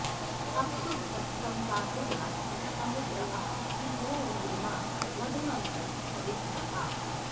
अ॒प्सु द्र॒प्सं वा॑वृधा॒नं स॑मु॒द्र आ सिन्धो॑रू॒र्मा मधु॑मन्तं प॒वित्र॒ आ